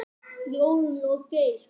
Jórunn og Geir.